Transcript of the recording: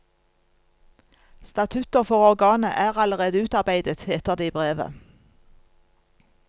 Statutter for organet er allerede utarbeidet, heter det i brevet.